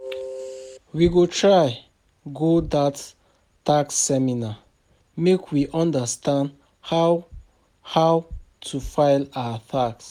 We go try go dat tax seminar, make we understand how how to file our tax.